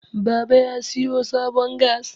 baba ya siyo sabon gas